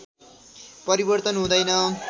परिवर्तन हुँदैन